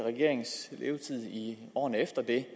regerings levetid i årene efter det